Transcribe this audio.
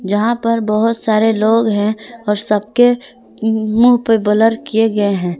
जहां पर बहोत सारे लोग हैं और सबके मुंह पे ब्लर किए गए हैं।